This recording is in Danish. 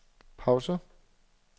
pause